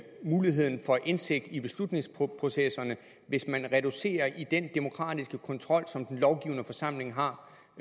muligheden for indsigt i beslutningsprocesserne hvis man reducerer den demokratiske kontrol som den lovgivende forsamling har